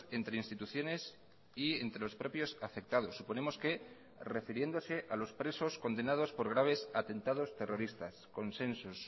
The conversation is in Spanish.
entre instituciones y entre los propios afectados suponemos que refiriéndose a los presos condenados por graves atentados terroristas consensos